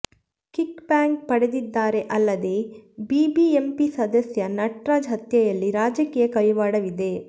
kick back ಪಡೆದಿದ್ದಾರೆ ಅಲ್ಲದೆ BBMP ಸದಸ್ಯ ನಟರಾಜ್ ಹತ್ಯೆಯಲ್ಲಿ ರಾಜಕೀಯ ಕೈವಾಡವಿದೆ